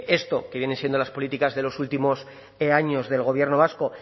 esto que vienen siendo las políticas de los últimos años del gobierno vasco